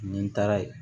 Ni n taara yen